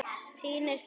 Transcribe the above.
Þín er saknað.